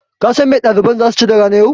Kasan me ɗaliban zasu ci da ranan yau?